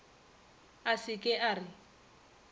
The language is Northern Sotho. a se ke a re